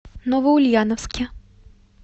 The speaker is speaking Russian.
новоульяновске